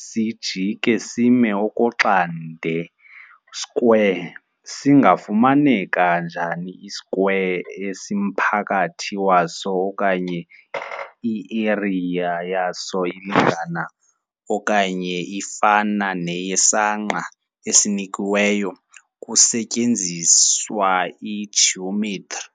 sijike sime okoxande - square - singafumaneka njani i-square esimphakathi waso okanye i-area yaso ilingana okanye ifana neyesangqa esinikiweyo, kusetyenziswa i-geometri.